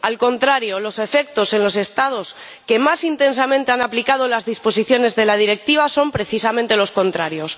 al contrario, los efectos en los Estados que más intensamente han aplicado las disposiciones de la Directiva son precisamente los contrarios.